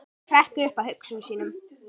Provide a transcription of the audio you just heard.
Hún hrekkur upp af hugsunum sínum.